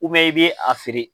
i bɛ a feere.